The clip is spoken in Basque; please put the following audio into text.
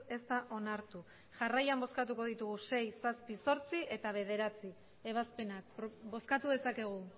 ez da onartu jarraian bozkatuko ditugu sei zazpi zortzi eta bederatzi ebazpenak bozkatu dezakegu